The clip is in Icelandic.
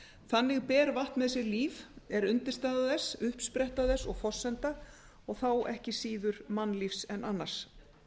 þannig ber vatn með sér líf er undirstaða þess uppspretta þess og forsenda og þá ekki síður mannlífs en annars